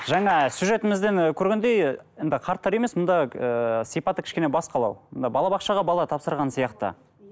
жаңа сюжетімізден і көргендей енді қарттар үйі емес мұнда ыыы сипаты кішкене басқалау мында балабақшаға бала тапсырған сияқты